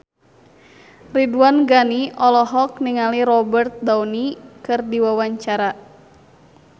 Ridwan Ghani olohok ningali Robert Downey keur diwawancara